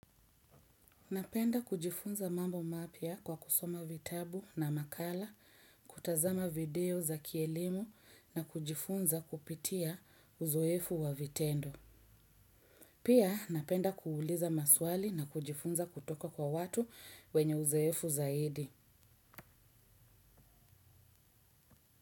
Napenda kujifunza mambo mapya kwa kusoma vitabu na makala kutazama video za kielimu na kujifunza kupitia uzoefu wa vitendo. Pia napenda kuuliza maswali na kujifunza kutoka kwa watu wenye uzoefu zaidi.